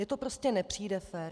Mně to prostě nepřijde fér.